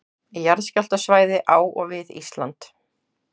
Jarðskjálftasvæði á og við Ísland.